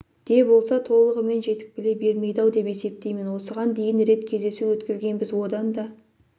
де болса толығымен жетік біле бермейді-ау деп есептеймін осыған дейін рет кездесу өткізгенбіз одан да